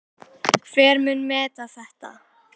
Hver mun meta þetta?